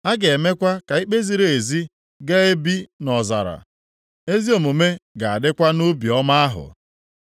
A ga-emekwa ka ikpe ziri ezi ga-ebi nʼọzara, + 32:16 Ga-erute onye ọbụla aka ezi omume ga-adịkwa nʼubi ọma ahụ.